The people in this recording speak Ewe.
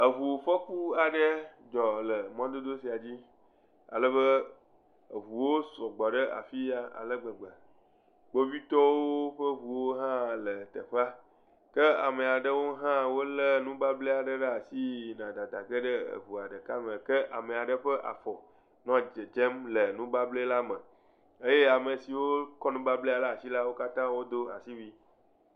Eŋu fɔku aɖe dzɔ le mɔdodo sia dzi alebe eŋuwo sɔgbɔ ɖe teƒe ya ale gbegbe. Kpovitɔwo ƒe ŋuwo hã le teƒea. Ke ame aɖewo hã wolé nubable aɖe ɖe asi yina dada ge ɖe eŋua ɖeka me, ke ame ƒe afɔ nɔ dzedzem le nubable la me eye ame siwo lé nubablea ɖe asi la, wo katã wodo asiwui.